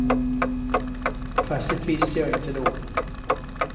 Fast det visste jag inte då.